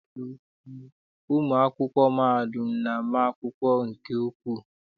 Ụmụ akwụkwọ mahadum na-ama akwụkwọ nke ukwuu.